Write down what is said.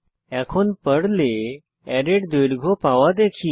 এখন পর্লে অ্যারের দৈর্ঘ্য পাওয়া দেখি